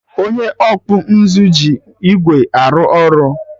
Onye ọkpụ nzụ ji igwe arụ ọrụ